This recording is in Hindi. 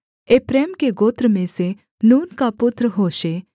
एप्रैम के गोत्र में से नून का पुत्र होशे